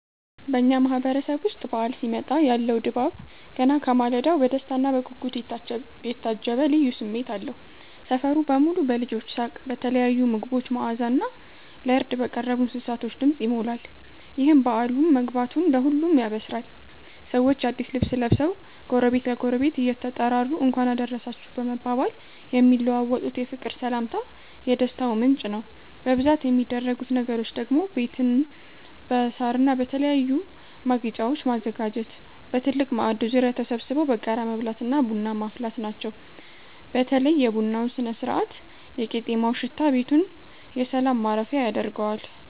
በኛ ማህበረሰብ ዉስጥ በዓል ሲመጣ ያለው ድባብ ገና ከማለዳው በደስታና በጉጉት የታጀበ ልዩ ስሜት አለው። ሰፈሩ በሙሉ በልጆች ሳቅ፤ በተለያዩ ምግቦች መዓዛና ለርድ በቀረቡ እንስሳቶች ድምፅ ይሞላል። ይህም በዓሉ መግባቱን ለሁሉም ያበስራል። ሰዎች አዲስ ልብስ ለብሰው፣ ጎረቤት ለጎረቤት እየተጠራሩ "እንኳን አደረሳችሁ" በመባባል የሚለዋወጡት የፍቅር ሰላምታ የደስታው ምንጭ ነው። በብዛት የሚደረጉት ነገሮች ደግሞ ቤትን በሳርና በተለያዩ ማጌጫወች ማዘጋጀት፣ በትልቅ ማዕድ ዙሪያ ተሰብስቦ በጋራ መብላትና ቡና ማፍላት ናቸው። በተለይ የቡናው ስነ-ስርዓትና የቄጤማው ሽታ ቤቱን የሰላም ማረፊያ ያደርገዋል።